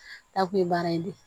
N'a kun ye baara in di